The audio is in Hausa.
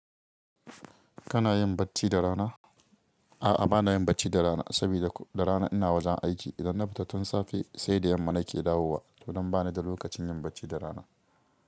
Kana yin bacci da rana? A'a, ba na yin bacci da rana saboda ko da rana ina wajen aiki. Idan na fita tun safe sai da yamma nake dawowa. To don ba ni da lokacin yin bacci da rana.